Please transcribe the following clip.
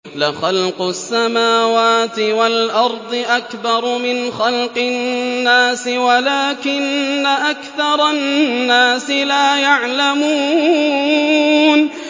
لَخَلْقُ السَّمَاوَاتِ وَالْأَرْضِ أَكْبَرُ مِنْ خَلْقِ النَّاسِ وَلَٰكِنَّ أَكْثَرَ النَّاسِ لَا يَعْلَمُونَ